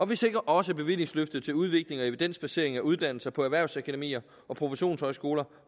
vi sikrer også bevillingsløftet til udvikling og evidensbasering af uddannelser på erhvervsakademier og professionshøjskoler